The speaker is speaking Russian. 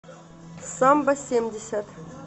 самбо семьдесят